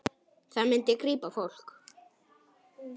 Það myndi grípa fólk.